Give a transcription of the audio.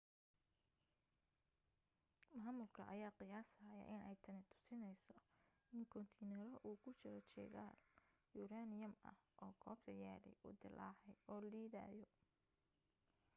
maamulka ayaa qiyaasaya inay tani tusinayso in koontiinaro uu ku jiro shidaal yuraaniyam ah oo goobta yaallay uu dillaacay oo liidayo